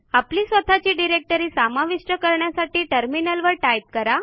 आपली स्वतःची डिरेक्टरी समाविष्ट करण्यासाठी टर्मिनलवर टाईप करा